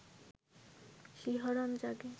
শিহরণ জাগে